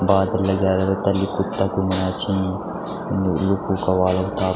बादल लग्या रैला तल्ली कुत्ता घुमणा छिन लु लुखु का ह्वाला।